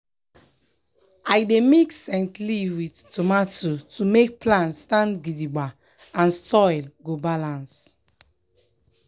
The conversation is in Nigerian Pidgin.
i dey mix scent leaf with tomato to make plants stand gidigba and soil go balance.